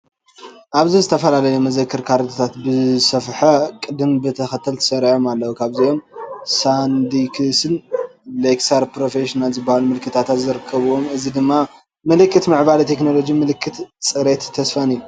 ኣብዚ ዝተፈላለዩ መዘክር ካርድታት ብዝተሰፍሐ ቅደም ተኸተል ተሰሪዖም ኣለዉ። ካብዚኦም ሳንዲስክን ሌክሳር ፕሮፌሽናልን ዝበሃሉ ምልክታት ይርከብዎም። እዚ ድማ ምልክት ምዕባለ ቴክኖሎጂ፡ ምልክት ጽሬትን ተስፋን እዩ።